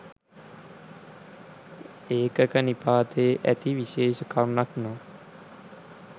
ඒකක නිපාතයේ ඇති විශේෂ කරුණක් නම්